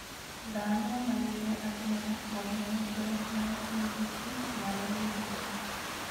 Dhano manie alwora mong'eyo ber mar tiyo gi kich nyalo yudo ber.